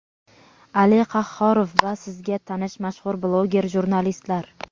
Ali Qahhorov va sizga tanish mashhur bloger jurnalistlar!.